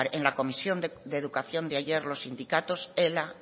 en la comisión de educación de ayer los sindicatos ela